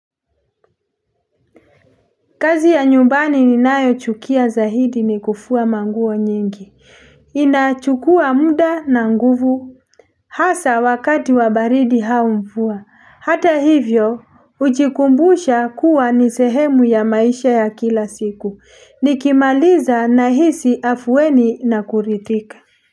Kazi ya nyumbani ni nayo chukia zahidi ni kufuwa manguo nyingi. Inachukua muda na nguvu. Hasa wakati wa baridi hau mvua. Hata hivyo, ujikumbusha kuwa ni sehemu ya maisha ya kila siku. Nikimaliza nahisi afuweni na kurithika.